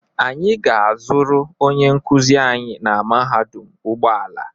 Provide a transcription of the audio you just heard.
Anyị ga-azụrụ onye nkuzi anyị na mahadum ụgbọala.